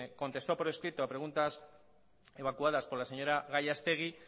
contestó por escrito a preguntas evacuadas por la señora gallastegui